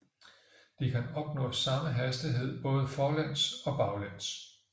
De kan opnå samme hastighed både forlæns og baglæns